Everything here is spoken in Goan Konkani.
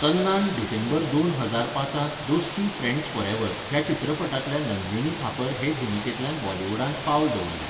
तन्नान डिसेंबर दोन हजार पांचांत 'दोस्ती फ्रँड्स फॉरएव्हर' ह्या चित्रपटांतल्या नंदिनी थापर हे भुमिकेंतल्यान बॉलिवूडांत पावल दवरलें.